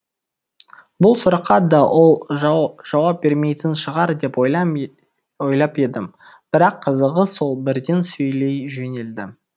бұл сұраққа да ол жауап бермейтін шығар деп ойлап едім бірақ қызығы сол бірден сөйлей жөнелді